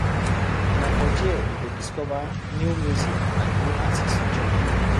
Na for there you go discover new music and new artists join